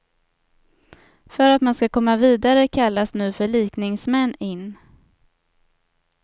För att man ska komma vidare kallas nu förlikningsmän in.